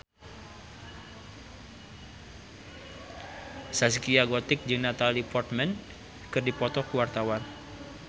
Zaskia Gotik jeung Natalie Portman keur dipoto ku wartawan